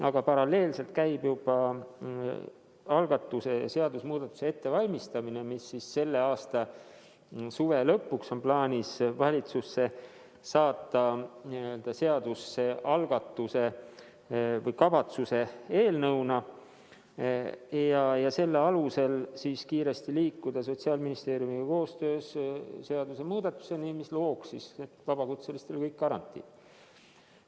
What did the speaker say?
Aga paralleelselt käib juba algatuse, seadusemuudatuse ettevalmistamine, mis on plaanis selle aasta suve lõpuks seaduse algatuse või kavatsuse eelnõuna valitsusse saata ja selle alusel liikuda Sotsiaalministeeriumiga koostöös kiiresti seadusemuudatuseni, mis looks vabakutselistele kõik garantiid.